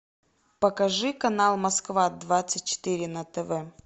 покажи канал москва двадцать четыре на тв